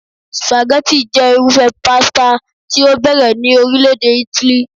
Spaghetti jẹ́ irúfẹ́ pasta tí ó bẹ̀rẹ̀ ní orile-ede Italy